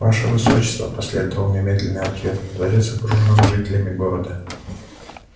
ваше высочество последовал немедленный ответ дворец окружен жителями города